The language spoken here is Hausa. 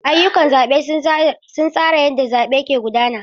Ayyukan zabe sun tsara yadda zaɓe ke gudana.